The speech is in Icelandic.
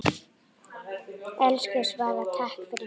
Elsku Svala, takk fyrir mig.